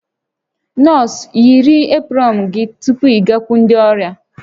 Nọọsụ, yiri eprọn gị tupu ịgakwuru ndị ọrịa!